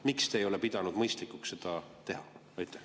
Miks te ei ole pidanud mõistlikuks seda teha?